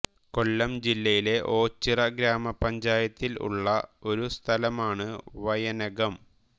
കൊല്ലം ജില്ലയിലെ ഓച്ചിറ ഗ്രാമപഞ്ചായത്തിൽ ഉള്ള ഒരു സ്ഥലമാണ് വയനകം